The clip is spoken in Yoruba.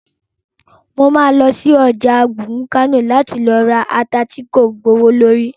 Mo ma lọ sí ọjà àárín gbùngbùn Kánò láti ra ata tí kò gbowó lórí